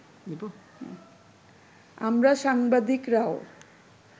আমরা সাংবাদিকরাও